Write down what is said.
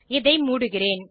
இதை மூடுகிறேன்